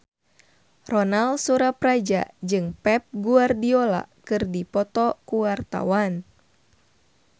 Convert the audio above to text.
Ronal Surapradja jeung Pep Guardiola keur dipoto ku wartawan